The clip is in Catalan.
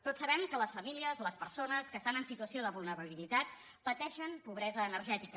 tots sabem que les famílies les persones que estan en situació de vulnerabilitat pateixen pobresa energètica